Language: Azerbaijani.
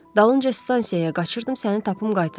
Dalınca stansiyaya qaçırdım səni tapım qaytarım.